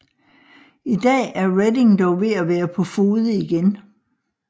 I dag er Reading dog ved at være på fode igen